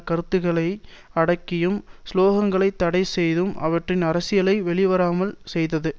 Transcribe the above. கருத்துக்களை அடக்கியும் சுலோகங்களை தடை செய்தும் அவற்றின் அரசியலை வெளிவராமல் செய்தது